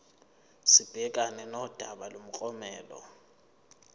sibhekane nodaba lomklomelo